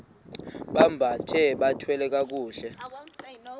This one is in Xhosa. bambathe bathwale kakuhle